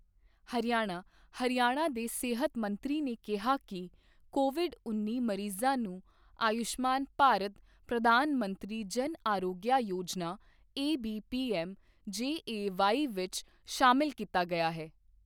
ਹਰਿਆਣਾ ਹਰਿਆਣਾ ਦੇ ਸਿਹਤ ਮੰਤਰੀ ਨੇ ਕਿਹਾ ਕਿ ਕੋਵਿਡ ਉੱਨੀ ਮਰੀਜ਼ਾਂ ਨੂੰ Ayushman Bharat Pradhan Mantri Jan Arogya Yojana AB PM JAY ਵਿੱਚ ਸ਼ਾਮਲ ਕੀਤਾ ਗਿਆ ਹੈ।